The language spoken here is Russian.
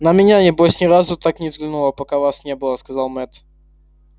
на меня небось ни разу так не взглянула пока вас не было сказал мэтт